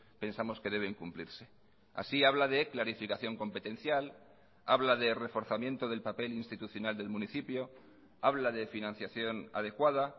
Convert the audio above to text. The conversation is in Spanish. pensamos que deben cumplirse así habla de clarificación competencial habla de reforzamiento del papel institucional del municipio habla de financiación adecuada